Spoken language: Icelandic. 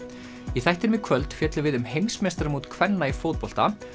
í þættinum í kvöld fjöllum við um heimsmeistaramót kvenna í fótbolta